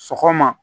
Sɔgɔma